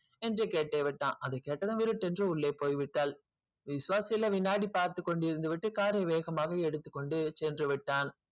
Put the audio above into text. என்று கேட்டே விட்டான் அதை கேட்டதும் சென்று போய்விட்டாள் விஸ்வ சில வினாடி பார்த்து கொண்டு இருந்து விட்டு car வேகமாக எடுத்து சென்று விட்டான்